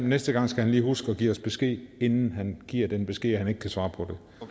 næste gang skal han lige huske at give os besked inden han giver den besked at han ikke kan svare på